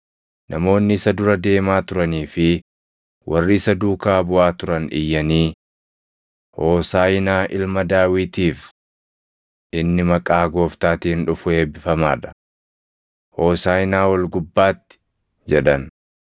Namoonni isa dura deemaa turanii fi warri isa duukaa buʼaa turan iyyanii, “Hoosaaʼinaa Ilma Daawitiif!” “Inni maqaa Gooftaatiin dhufu eebbifamaa dha!” + 21:9 \+xt Far 118:26\+xt* “Hoosaaʼinaa ol gubbaatti!” jedhan.